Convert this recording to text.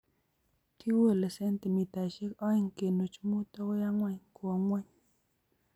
kekolei sentimitaishek oeng kenuch muut agoi ang'wan kowo ng'uny